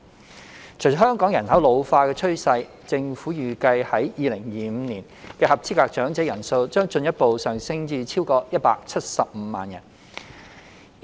隨着香港人口老化的趨勢，政府預計在2025年的合資格長者人數將進一步上升至超過175萬人。